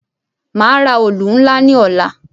Màá ra òlù ńlá ní ọ̀la.